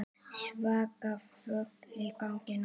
Svaka flug í gangi núna.